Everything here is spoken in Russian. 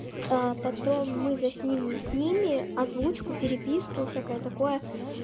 а потом мы заснимем с ними озвучку переписку и всякое такое